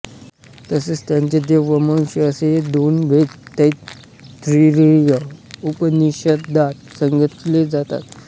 तसेच त्यांचे देव व मनुष्य असेही दोन भेद तैत्तिरीय उपनिषदात सांगितले जातात